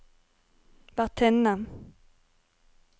vertinne